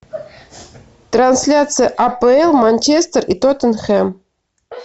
трансляция апл манчестер и тоттенхэм